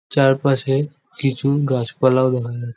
চার পাশে কিছু ও গাছপালা ও দেখা যাচ্ছে।